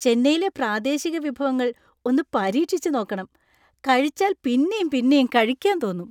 ചെന്നൈയിലെ പ്രാദേശിക വിഭവങ്ങൾ ഒന്ന് പരീക്ഷിച്ച് നോക്കണം! കഴിച്ചാൽ പിന്നെയും പിന്നെയും കഴിക്കാൻ തോന്നും.